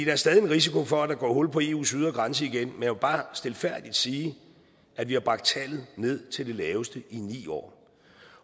er stadig en risiko for at der går hul på eus ydre grænse igen men vil bare stilfærdigt sige at vi har bragt tallet ned til det laveste i ni år